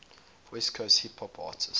west coast hip hop artists